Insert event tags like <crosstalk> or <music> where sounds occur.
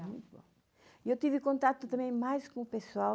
<unintelligible> E eu tive contato também mais com o pessoal